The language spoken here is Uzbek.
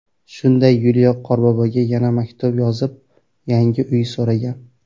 Shunda Yuliya Qorboboga yana maktub yozib, yangi uy so‘ragan.